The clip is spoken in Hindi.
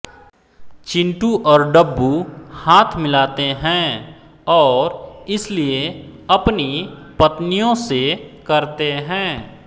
चिंटू और डब्बू हाथ मिलाते हैं और इसलिए अपनी पत्नियों से करते हैं